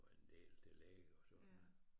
Var en del til lægen og sådan